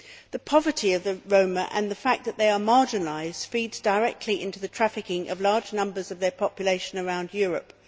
The poverty of the Roma and the fact that they are marginalised feeds directly into the trafficking of large numbers of their population around Europe.